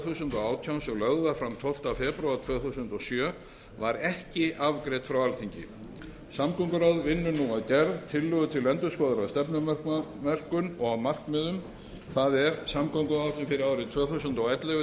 þúsund og átján sem lögð var fram tólfta febrúar tvö þúsund og sjö var ekki afgreidd frá alþingi samgönguráð vinnur nú að gerð tillögu að endurskoðaðri stefnumörkun og markmiðum það er samgönguáætlun fyrir árin tvö þúsund og ellefu